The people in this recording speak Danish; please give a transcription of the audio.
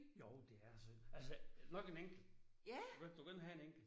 Jo det er synd. Altså nok en enkelt. Du kan ikke du kan ikke have en enkelt